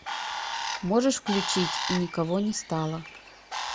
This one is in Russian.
можешь включить и никого не стало